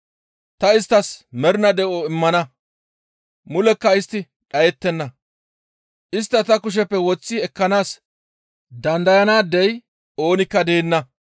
Ta isttas mernaa de7o immana; mulekka istti dhayettenna; istta ta kusheppe woththi ekkanaas dandayanaadey oonikka deenna.